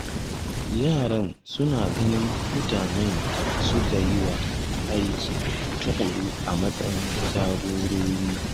Yaran suna ganin mutanen da suka yi aiki tuƙuru a matsayin jagorori